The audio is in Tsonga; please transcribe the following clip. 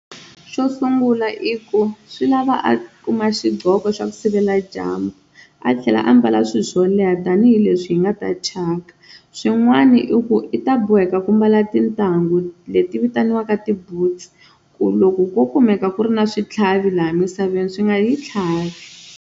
Xo sungula i ku swi lava a kuma xiqhoko xa ku sivela dyambu a tlhela a ambala swilo swo leha tanihileswi hi nga ta thyaka, swin'wana i ku i ta boheka ku mbala tintangu leti vitaniwaka ti-boots ku loko ko kumeka ku ri na switlhavi laha misaveni swi nga hi tlhavi.